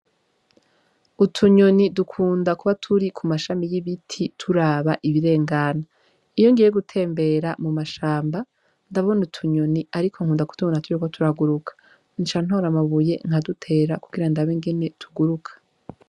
Utu nyoni dukunda kuba turi kumashami y' igiti turaba ibirengana iyo ngiye gutembera mu mashamba ndabona utunyoni ariko nkunda kutubona turiko turaguruka ariko nca ntora amabuye nkadutera kugira ndabe ingene tuguruka.